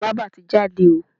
Bába ti jáde o.